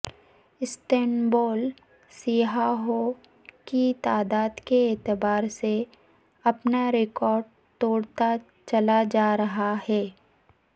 Istanbul سیاحوں کی تعداد کے اعتبار سے اپنا ریکارڈ توڑتا چلا جا رہا ہے